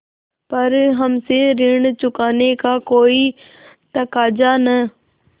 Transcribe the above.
पर हमसे ऋण चुकाने का कोई तकाजा न